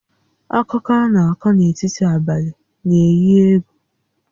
Akụkọ a na-akọ n'etiti abalị na-éyí égwù